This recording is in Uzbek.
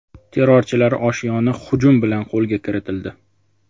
Terrorchilar oshyoni hujum bilan qo‘lga kiritildi.